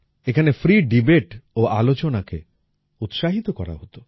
এখানে ফ্রি দেবাতে ও আলোচনাকে উৎসাহিত করা হতো